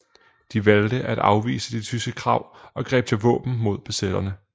De valgte at afvise de tyske krav og greb til våben mod besætterne